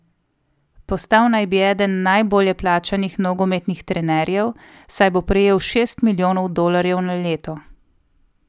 Postal naj bi eden najbolje plačanih nogometnih trenerjev, saj bo prejel šest milijonov dolarjev na leto.